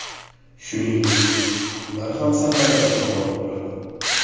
Shuningdek, ular ham safarlarga borib turadi.